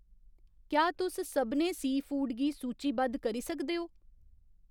क्या तुस सभनें सी फूड गी सूचीबद्ध करी सकदे ओ ?